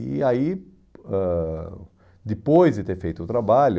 E aí, ãh depois de ter feito o trabalho,